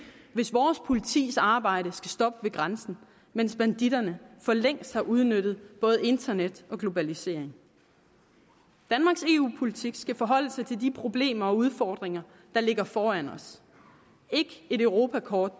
hvis vores politis arbejde skal stoppe ved grænsen mens banditterne for længst har udnyttet både internet og globalisering danmarks eu politik skal forholde sig til de problemer og udfordringer der ligger foran os ikke et europakort